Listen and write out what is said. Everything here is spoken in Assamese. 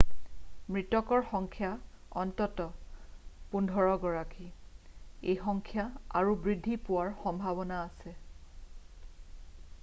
মৃতকৰ সংখ্যা অন্ততঃ 15 গৰাকী এই সংখ্যা আৰু বৃদ্ধি পোৱাৰ সম্ভাৱনা আছে